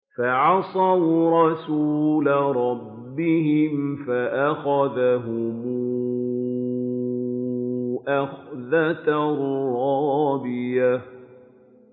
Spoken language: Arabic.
فَعَصَوْا رَسُولَ رَبِّهِمْ فَأَخَذَهُمْ أَخْذَةً رَّابِيَةً